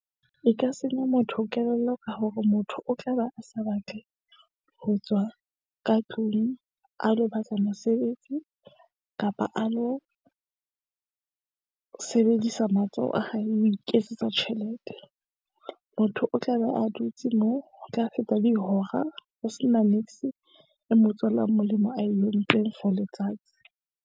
E ka senya motho kelello ka hore motho o tla be a sa batle ho tswa ka tlung a lo batla mosebetsi kapa a lo sebedisa matsoho a hae ho iketsetsa tjhelete. Motho o tla be a dutse moo, ho tla feta dihora ho se na niks e mo tswelang molemo ae entsweng for letsatsi.